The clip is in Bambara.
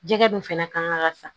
Jɛgɛ dun fana kan ka san